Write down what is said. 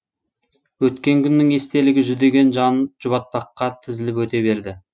өткен күннің естелігі жүдеген жанын жұбатпаққа тізіліп өте берді